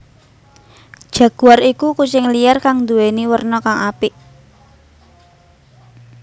Jaguar iku kucing liar kang nduwèni werna kang apik